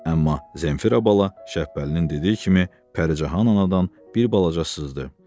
Amma Zenfira bala Şəbəlinin dediyi kimi Pəricahan anadan bir balaca sızdı.